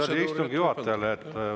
Härra Reinsalu, see oli istungi juhatajale.